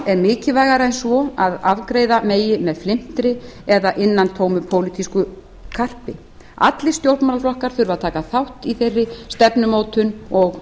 er mikilvægara en svo að afgreiða megi með flimtri eða innantómu pólitísku karpi allir stjórnmálaflokkar þurfa að taka þátt í þeirri stefnumótun og